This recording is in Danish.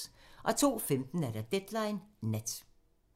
02:15: Deadline Nat